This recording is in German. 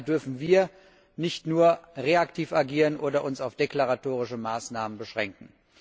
Und daher dürfen wir nicht nur reaktiv agieren oder uns auf deklaratorische Maßnahmen beschränken.